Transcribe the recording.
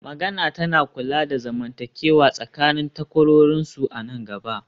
magana tana kula da zamantakewa tsakanin takwarorinsu a nan gaba